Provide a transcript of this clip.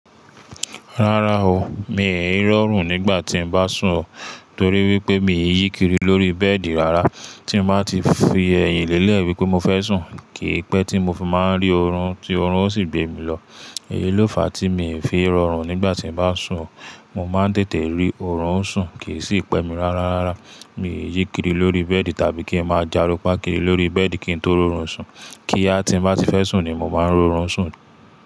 Rárá o, mi ò rọrùn nígbà tí n bá sùn o torí wípé mi ò yíkiri lórí bẹ́ẹ̀dì rárá. Tí mo bá ti fi ẹyìn lé lẹ́ẹ̀ wípé mo fẹ́ sùn, kì í pẹ́ tí mo fi máa rí oorun, tí oorun ó sì gbé mi lọ. Èyí ló fà tí mi ò fi rọrùn nígbà tí n bá sùn o. Mo máa ń tètè rí oorun sùn kì í sì pẹ́ mi rárá. Mi ò yíkiri lórí bẹ́ẹ̀dì tàbí kí n máa járunpáà kirì lórí bẹ́ẹ̀dì kí n tó rí oorun sùn. Kí á tí n bá ti fẹ́ sùn ni mo máa ń rí oorun sùn.